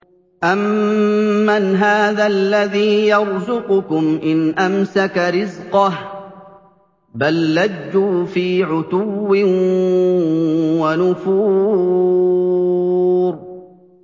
أَمَّنْ هَٰذَا الَّذِي يَرْزُقُكُمْ إِنْ أَمْسَكَ رِزْقَهُ ۚ بَل لَّجُّوا فِي عُتُوٍّ وَنُفُورٍ